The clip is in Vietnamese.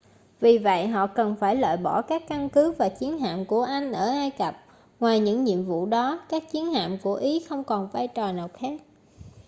vì vậy họ cần phải loại bỏ các căn cứ và chiến hạm của anh ở ai cập ngoài những nhiệm vụ đó các chiến hạm của ý không còn vai trò nào khác